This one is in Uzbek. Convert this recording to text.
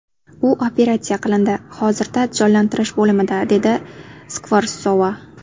U operatsiya qilindi, hozirda jonlantirish bo‘limida”, dedi Skvorsova.